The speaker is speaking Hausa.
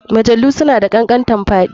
Mjalu suna da kankantanfaɗi